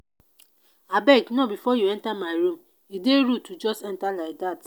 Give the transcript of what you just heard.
abeg knock before you enter my room. e dey rude to just enter like dat.